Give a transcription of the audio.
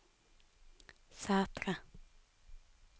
Sætre